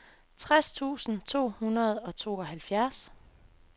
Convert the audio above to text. tres tusind to hundrede og tooghalvfjerds